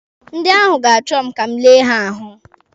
Ndị ahụ ga-achọ ka m lee ha ahụ.